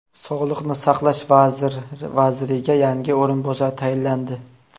Sog‘liqni saqlash vaziriga yangi o‘rinbosar tayinlandi.